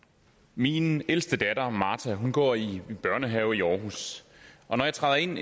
min ældste datter martha går i børnehave i århus og når jeg træder ind